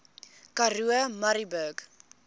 karoo murrayburg